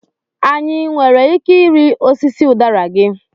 Anyị nwere ike ịrị osisi udara gị?